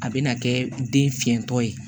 A bɛna kɛ den fiɲɛtɔ ye